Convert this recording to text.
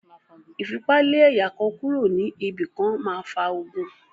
Ìfipa lé ẹ̀yà kan kúro ní ibi kan máa fa ogun.